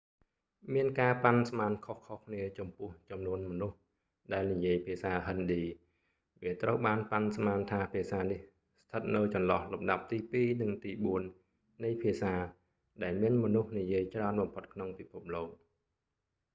មានការប៉ាន់ស្មានខុសៗគ្នាចំពោះចំនួនមនុស្សដែលនិយាយភាសាហិណ្ឌី វាត្រូវបានប៉ាន់ស្មានថាភាសានេះស្ថិតនៅចន្លោះលំដាប់ទីពីរ និងទីបួននៃភាសាដែលមានមនុស្សនិយាយច្រើនបំផុតក្នុងពិភពលោក